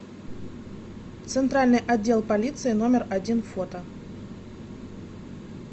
центральный отдел полиции номер один фото